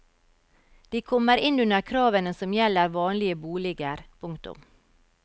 De kommer inn under kravene som gjelder vanlige boliger. punktum